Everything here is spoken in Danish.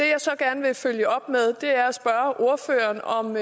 jeg så gerne vil følge op med er at spørge ordføreren om